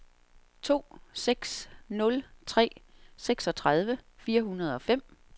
to seks nul tre seksogtredive fire hundrede og fem